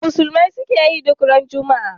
Me musulmai suke yi duk ranar Juma'a?